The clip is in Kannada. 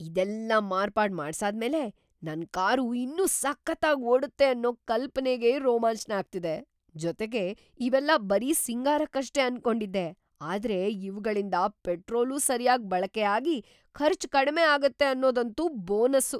ಇದೆಲ್ಲ ಮಾರ್ಪಾಡ್‌ ಮಾಡ್ಸಾದ್ಮೇಲೆ ನನ್ ಕಾರು ಇನ್ನೂ ಸಖತ್ತಾಗ್‌ ಓಡತ್ತೆ ಅನ್ನೋ ‌ಕಲ್ಪನೆಗೇ ರೋಮಾಂಚ್ನ ಆಗ್ತಿದೆ. ಜೊತೆಗೆ, ಇವೆಲ್ಲ ಬರೀ ಸಿಂಗಾರಕ್ಕಷ್ಟೇ ಅನ್ಕೊಂಡಿದ್ದೆ ಆದ್ರೆ ಇವ್ಗಳಿಂದ ಪೆಟ್ರೋಲೂ ಸರ್ಯಾಗ್‌ ಬಳಕೆ ಆಗಿ ಖರ್ಚ್‌ ಕಡ್ಮೆ ಆಗತ್ತೆ ಅನ್ನೋದಂತೂ ಬೋನಸ್ಸು!